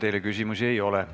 Teile küsimusi ei ole.